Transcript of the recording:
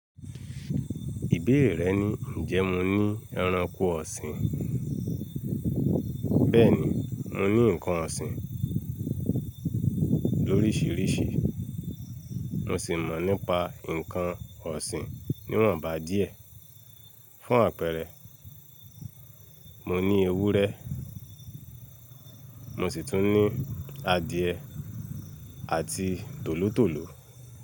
Ìbéèrè rẹ ni ǹjẹ́ mo ní ẹranko ọ̀sìn. Bẹ́ẹ̀ni, mo ní ǹkan ọ̀sìn lórísìírísì. Mo sì mọ̀ nípa ǹkan ọ̀sìn níwọ̀nba díẹ̀. Fún àpẹẹrẹ, mo ní ewúrẹ́, mo sì tún ní adìẹ àti tòlótòló.